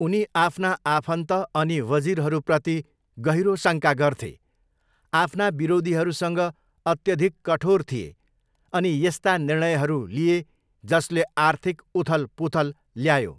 उनी आफ्ना आफन्त अनि वजिरहरूप्रति गहिरो शङ्का गर्थे, आफ्ना विरोधीहरूसँग अत्यधिक कठोर थिए अनि यस्ता निर्णयहरू लिए जसले आर्थिक उथलपुथल ल्यायो।